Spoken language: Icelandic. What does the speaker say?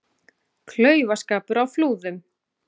Klaufaskapur á Flúðum